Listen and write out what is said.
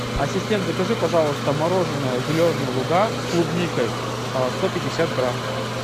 ассистент закажи пожалуйста мороженое зеленые луга с клубникой сто пятьдесят грамм